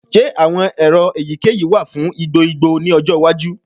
Ṣe awọn ero eyikeyi wa fun igbo igbo ni ọjọ iwaju?